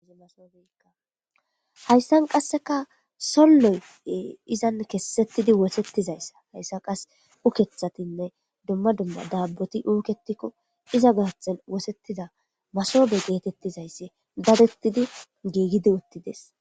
hayssan qasseka solloy izan kessettidi wosettizayssa hayssa qas ukethatinne dumma dumma daabboti uuketikko iza gaathen wosettida masobe geetettizayssi dabettidi giigidi uttides